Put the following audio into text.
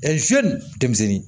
denmisɛnnin